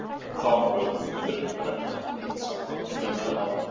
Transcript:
Þá höfðum við reyndar ekki haft neitt samband í meira en ár.